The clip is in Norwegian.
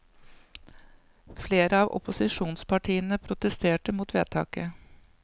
Flere av opposisjonspartiene protesterte mot vedtaket.